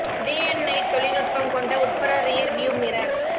day and night தொழில்நுட்பம் கொண்ட உட்புற ரியர் வியூ மிரர்